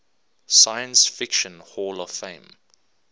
science fiction hall of fame